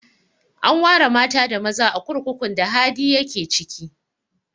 An ware mata da maza a kurkukun da Hadi ya ke ciki